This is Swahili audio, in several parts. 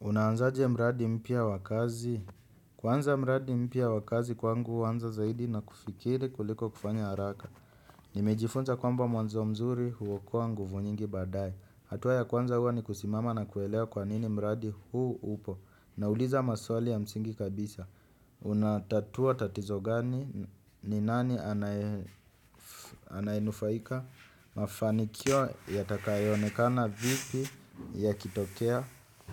Unaanzaje mradi mpya wakazi. Kwanza mradi mpya wa kazi kwangu huanza zaidi na kufikiri kuliko kufanya haraka. Nimejifunza kwamba mwanzo mzuri huokoa nguvu nyingi baadye. Hatua ya kwanza huwa ni kusimama na kuelewa kwa nini mradi huu upo. Nauliza maswali ya msingi kabisa. Unatatua tatizo gani ni nani anayenufaika. Mafanikio yatakayonekana vipi ya kitokea.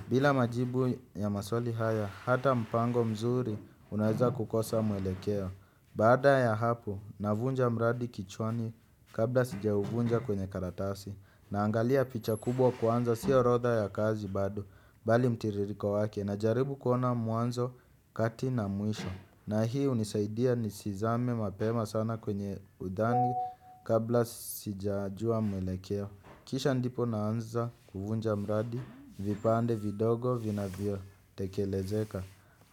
Bila majibu ya maswali haya, hata mpango mzuri unaweza kukosa mwelekeo. Baada ya hapo, navunja mradi kichwani kabla sijauvunja kwenye karatasi. Naangalia picha kubwa kwanza, si orodha ya kazi bado, bali mtiririko wake. Najaribu kuona mwanzo kati na mwisho. Na hii hunisaidia nisizame mapema sana kwenye udhani kabla sijajua mwelekeo. Kisha ndipo naanza kuvunja mradi, vipande vidogo vinavyotekelezeka.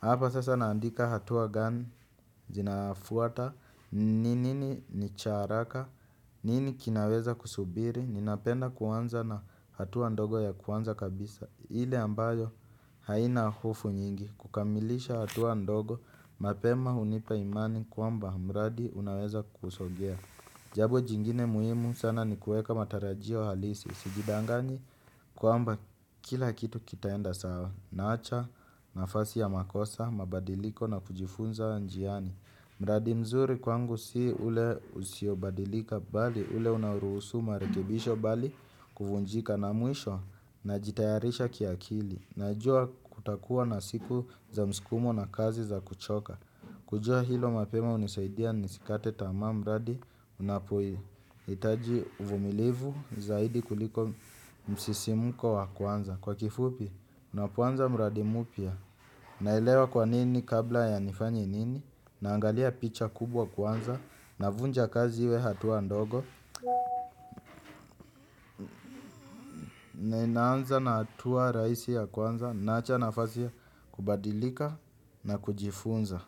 Hapa sasa naandika hatua gani, zinafuata, ni nini ni cha haraka, nini kinaweza kusubiri, ninapenda kuanza na hatua ndogo ya kwanza kabisa. Ile ambayo haina hofu nyingi, kukamilisha hatua ndogo, mapema hunipa imani kwamba mradi unaweza kusongea jambo jingine muhimu sana ni kuweka matarajio halisi sijidaganyi kwamba kila kitu kitaenda sawa. Naacha nafasi ya makosa, mabadiliko na kujifunza njiani. Mradi mzuri kwangu si ule usiobadilika bali ule unaoruhusu marekebisho bali kuvunjika na mwisho. Najitayarisha kiakili. Najua kutakuwa na siku za msukumo na kazi za kuchoka. Kujua hilo mapema hunisaidia nisikate tamaa mradi unapohitaji uvumilivu zaidi kuliko msisimko wa kwanza. Kwa kifupi, unapuanza mbradi mupia. Nailewa kwa nini kabla ya nifanyi nini, naangalia picha kubwa kwanza, navunja kazi iwe hatua ndogo, naanza na hatua rahisi ya kwanza, naacha nafasi ya kubadilika na kujifunza.